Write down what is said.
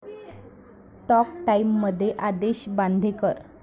talk टाइम'मध्ये आदेश बांदेकर